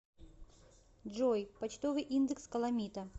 джой почтовый индекс каламита